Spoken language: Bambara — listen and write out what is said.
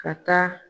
Ka taa